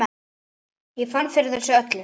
Ég fann fyrir þessu öllu.